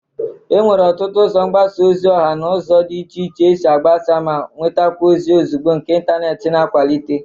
Enwere ọtụtụ ụzọ mgbasa ozi ọha na ụzọ dị iche iche esi agbasa ma nwetakwa ozi ozugbo nke intaneeti na-akwalite.